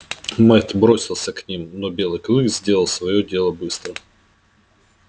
мэтт бросился к ним но белый клык сделал своё дело быстро